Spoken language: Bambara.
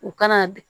U kana